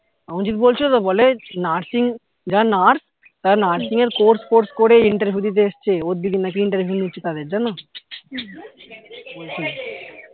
অঞ্চিত বলছিলো তো বলে nursing যারা nurse তারা nursing এর course ফোর্স করে interview দিতে এসেছে ওর দিদি নাকি interview নিচ্ছে তাদের জানো বলছিলো